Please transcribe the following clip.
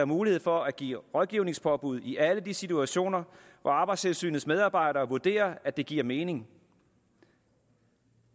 mulighed for at give rådgivningspåbud i alle de situationer hvor arbejdstilsynets medarbejdere vurderer at det giver mening